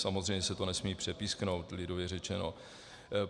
Samozřejmě se to nesmí přepísknout, lidově řečeno.